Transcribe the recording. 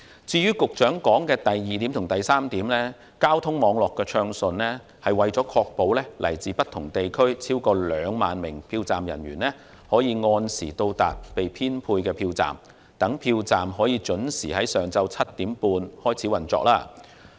至於局長提到的第二及三點，交通網絡暢順是為了確保來自不同地區的超過2萬名票站人員可按時到達被編配的票站，使票站得以準時在上午7時半開始運作。